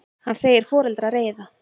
Hann segir foreldra reiða.